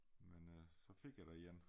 Men øh så fik jeg da en